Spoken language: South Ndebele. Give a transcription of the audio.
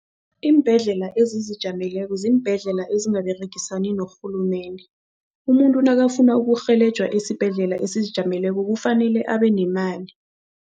Iimbhedlela ezizijameleko ziimbhedlela ezingaberegasani norhulumende. Umuntu nakafuna urhelejwa esibhedlela esizijameleko kufanele abenemali.